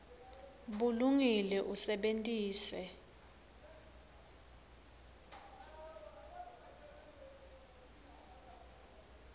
bulungile usebentise